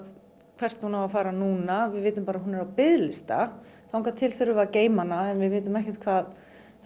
hvert hún á að fara núna við vitum bara að hún er á biðlista þangað til þurfum við að geyma hana við vitum ekkert hvað